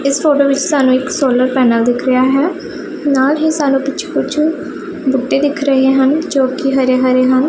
ਇਸ ਫੋਟੋ ਵਿੱਚ ਸਾਨੂੰ ਇੱਕ ਸੋਲਰ ਪੈਨਲ ਦਿਖ ਰਿਹਾ ਹੈ ਨਾਲ ਹੀ ਸਾਨੂੰ ਪਿੱਛੇ ਕੁਛ ਬੂਟੇ ਦਿਖ ਰਹੇ ਹਨ ਜੋ ਕਿ ਹਰੇ ਹਰੇ ਹਨ।